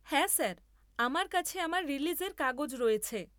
হ্যাঁ স্যার, আমার কাছে আমার রিলিজের কাগজ রয়েছে।